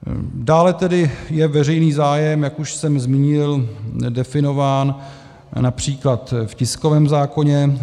Dále tedy je veřejný zájem, jak už jsem zmínil, definován například v tiském zákoně.